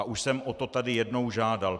A už jsem o to tady jednou žádal.